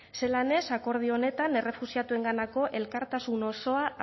zelan ez akordio honetan errefuxiatuenganako elkartasun osoa